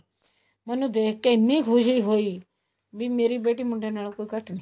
ਮੈਨੂੰ ਦੇਖ ਕੇ ਇੰਨੀ ਖੁਸ਼ੀ ਹੋਈ ਵੀ ਮੇਰੀ ਬੇਟੀ ਮੁੰਡਿਆਂ ਨਾਲੋ ਘੱਟ ਨੀ